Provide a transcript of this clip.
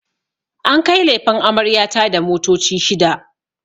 An kai lefen amarya ta da motoci shida